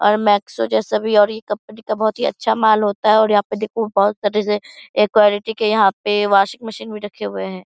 और मैक्सो जैसा भी और ये कंपनी का बहुत ही अच्छा माल होता है और यहाँ पे देखो बहुत सारे ए क्वालिटी के यहां पे वाशिंग मशीन भी रखे हुए है।